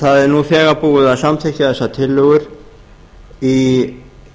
það er nú þegar búið að samþykkja þessar tillögur í